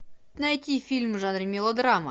найти фильм в жанре мелодрама